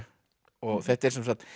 og þetta er